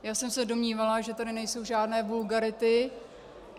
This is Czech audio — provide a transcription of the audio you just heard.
Já jsem se domnívala, že tady nejsou žádné vulgarity.